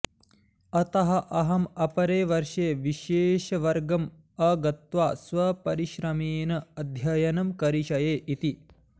अतः अहम् अपरे वर्षे विशेषवर्गम् अगत्वा स्वपरिश्रमेण अध्ययनं करिष्ये इति